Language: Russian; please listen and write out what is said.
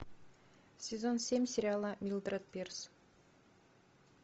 сезон семь сериала милдред пирс